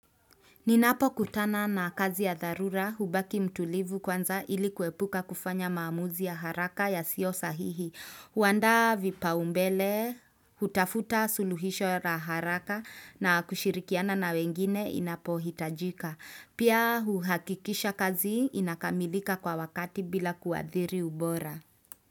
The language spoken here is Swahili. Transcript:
Ninapo kutana na kazi ya dharura hubaki mtulivu kwanza ili kuepuka kufanya maamuzi ya haraka yasio sahihi. Kuandaa vipao mbele, hutafuta suluhisho ya haraka na kushirikiana na wengine inapo hitajika. Pia uhakikisha kazi inakamilika kwa wakati bila kuadhiri ubora.